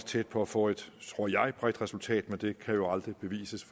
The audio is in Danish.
tæt på at få et tror jeg bredt resultat men det kan jo aldrig bevises